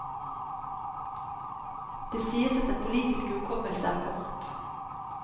Det sies at den politiske hukommelse er kort.